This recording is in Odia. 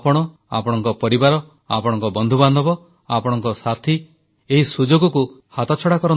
ଆପଣ ଆପଣଙ୍କ ପରିବାର ଆପଣଙ୍କ ବନ୍ଧୁବାନ୍ଧବ ଆପଣଙ୍କ ସାଥି ଏହି ସୁଯୋଗକୁ ହାତଛଡ଼ା କରନ୍ତୁନି